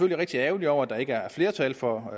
rigtig ærgerlig over at der ikke er flertal for